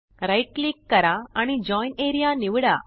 right click करा आणि join area निवडा